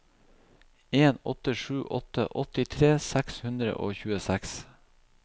en åtte sju åtte åttitre seks hundre og tjueseks